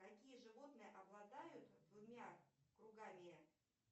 какие животные обладают двумя кругами